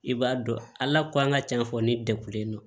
I b'a dɔn ala k'an ka cɛn fɔ ne degulen don